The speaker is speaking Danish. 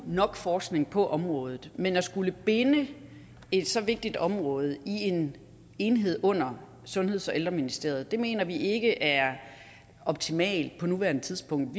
nok forskning på området men at skulle binde et så vigtigt område i en enhed under sundheds og ældreministeriet mener vi ikke er optimalt på nuværende tidspunkt